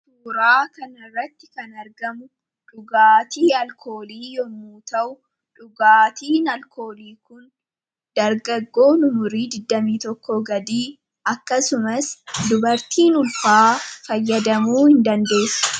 Suuraa kanarratti kan argamu dhugaatii alkoolii yommuu ta'u dhugaatiin alkoolii kun dargaggoo umurii 21 gadii akkasumas dubartiin ulfaa fayyadamuu hin dandeesu.